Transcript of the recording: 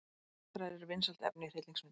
Martraðir eru vinsælt efni í hryllingsmyndum.